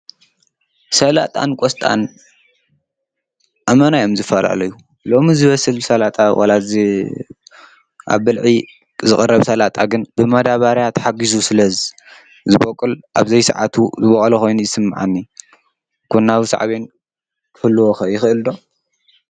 ሰላጣን ቆስጣን ኣመና እዮም ዝፈላለዩ፡፡ ሎሚ ዝበስል ሰላጣ ወላ ኣብ ብልዒ ዝቐርብ ሰላጣ ግን ብማዳባርያ ተሓጊዙ ስለ ዝበቁል ኣብዘይሰዓቱ እዩ ዝበቁለ ኾይኑ ዩ ይስምዓኒ፡፡ ጎናዊ ሳዕቤን ክህልዎ ኸ ይኽእል ዶ?